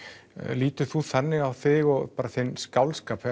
lítur þú þannig á þig og þinn skáldskap